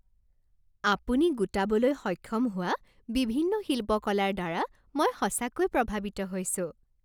আপুনি গোটাবলৈ সক্ষম হোৱা বিভিন্ন শিল্পকলাৰ দ্বাৰা মই সঁচাকৈয়ে প্ৰভাৱিত হৈছোঁ।